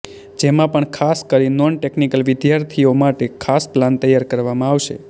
જેમાં પણ ખાસ કરી નોન ટેકનીકલ વિદ્યાર્થીઓ માટે ખાસ પ્લાન તૈયાર કરવામાં આવશે